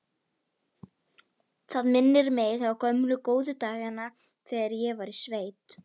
Það minnir mig á gömlu, góðu dagana þegar ég var í sveit.